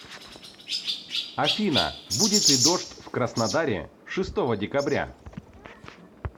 афина будет ли дождь в краснодаре шестого декабря